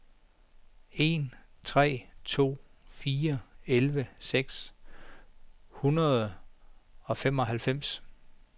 en tre to fire elleve seks hundrede og femoghalvfems